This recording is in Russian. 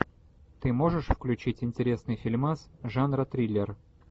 ты можешь включить интересный фильмас жанра триллер